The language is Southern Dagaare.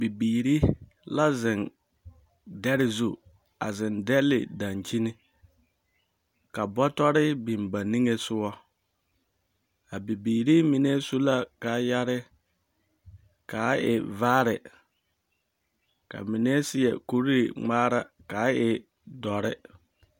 Bibiiri la zeŋ dɛre zu, a zeŋ dɛle dankyini, ka bɔtɔre biŋ ba niŋesogɔ. A bibiiri mie su la kaayare kaa e vaare, ka ba mine seɛ kuri ŋmaara kaa e dɔre.